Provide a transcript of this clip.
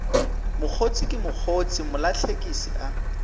mokgotse ke mokgotse mlahlekisi a